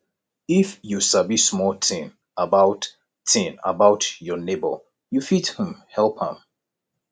if you sabi small tin about tin about your nebor you fit um help am